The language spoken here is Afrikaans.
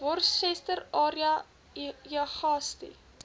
worcester area uagasti